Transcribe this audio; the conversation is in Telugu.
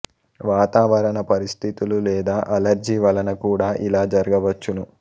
వాతావరణ పరిస్థితులు లేదా అలర్జీ వలన కూడా ఇలా జరగవచ్చును